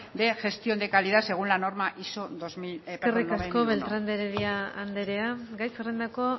de gestión de calidad según la norma iso eskerrik asko beltrán de heredia andrea gai zerrendako